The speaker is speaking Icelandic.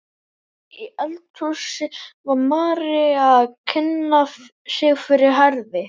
Inni í eldhúsi var María að kynna sig fyrir Herði.